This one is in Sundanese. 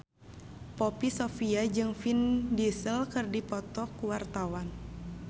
Poppy Sovia jeung Vin Diesel keur dipoto ku wartawan